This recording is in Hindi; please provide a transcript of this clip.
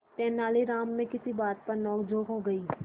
तेनालीराम में किसी बात पर नोकझोंक हो गई